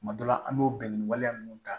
Tuma dɔ la an b'o bɛn ni waleya ninnu ta